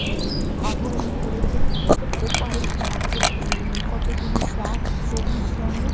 উমম আভরণ পড়েছে ওপারে আছে উম কতগুলি গাছ সবুজ রঙের।